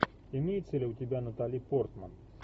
имеется ли у тебя натали портман